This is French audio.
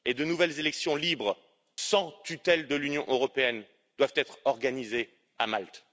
Et de nouvelles élections libres, sans tutelle de l'Union européenne, doivent être organisées à Malte.